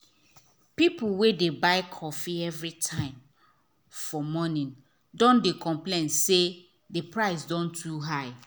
people wey dey buy coffee everytime for morning don dey complain say the price don too high